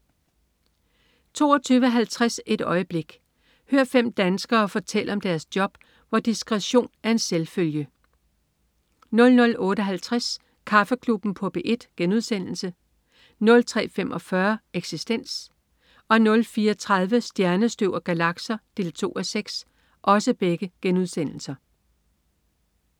22.50 Et øjeblik. Hør fem danskere fortælle om deres job, hvor "disktretion er en selvfølge" 00.58 Kaffeklubben på P1* 03.45 Eksistens* 04.30 Stjernestøv og galakser 2:6*